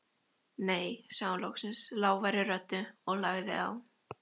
Nei sagði hún loksins lágværri röddu og lagði á.